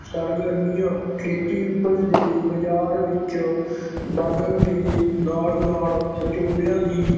ਸਰਗਰਮੀਆਂ ਖੇਤੀ ਉਪਜ ਦੇ ਬਾਜ਼ਾਰ ਵਿੱਚ ਵਧਣ ਦੇ ਨਾਲ ਨਾਲ ਵਿਚੋਲਿਆਂ ਦੀ